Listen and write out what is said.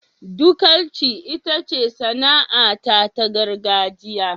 Dukanci itace sana'ata ta gargajiya.